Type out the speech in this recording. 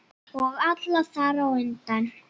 Og alla þar á undan.